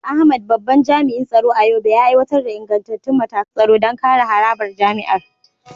Ahmad, babban jami’in tsaro a Yobe, ya aiwatar da ingantattun matakan tsaro don kare harabar jami’ar.